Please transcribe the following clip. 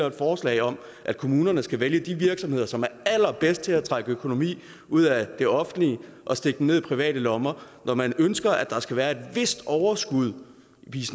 et forslag om at kommunerne skal vælge de virksomheder som er allerbedst til at trække økonomi ud af det offentlige og stikke dem ned i private lommer og når man ønsker at der skal være et vist overskud i